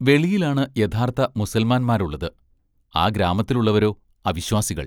വെളിയിലാണ് യഥാർഥ മുസൽമാന്മാരുള്ളത്, ആ ഗ്രാമത്തിലുള്ളവരോ, അ വിശ്വാസികൾ!